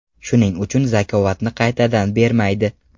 Shuning uchun zakotni qaytadan bermaydi.